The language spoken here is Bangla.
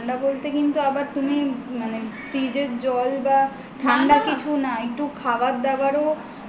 ঠান্ডা বলতে কিন্তু আবার তুমি fridge র জল বা ঠান্ডা কিছু না একটু খাবার দাবারও